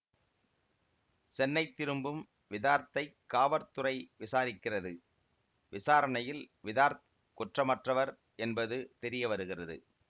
சென்னை திரும்பும் விதார்த்தைக் காவற்துறை விசாரிக்கிறது விசாரணையில் விதார்த் குற்றமற்றவர் என்பது தெரிய வருகிறது